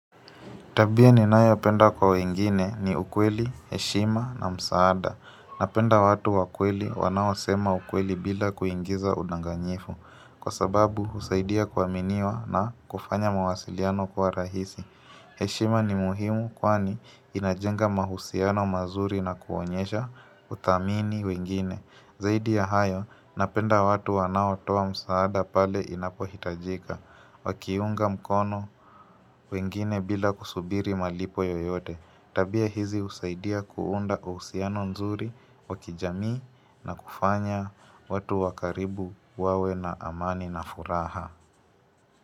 Tabia ni nayo penda kwa wengine ni ukweli, heshima na msaada. Napenda watu wakweli wanao sema ukweli bila kuingiza udanganyifu. Kwa sababu, husaidia kuaminiwa na kufanya mawasiliano kuwa rahisi. Heshima ni muhimu kwani inajenga mahusiano mazuri na kuonyesha uthamini wengine. Zaidi ya hayo, napenda watu wanao toa msaada pale inapohitajika. Wakiunga mkono wengine bila kusubiri malipo yoyote, tabia hizi husaidia kuunda uhusiano nzuri wakijamii na kufanya watu wakaribu wawe na amani na furaha.